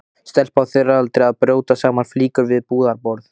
Stelpa á þeirra aldri að brjóta saman flíkur við búðarborð.